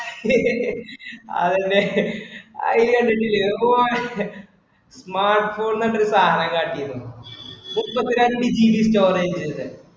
അതിന്റെ അതില് കണ്ടിട്ടില്ലേ, അത് Naptol എന്ന് പറഞ്ഞൊരു സാധനം കാട്ടിയിരുന്നു മുപ്പത്തി രണ്ടു GB storage അതില്.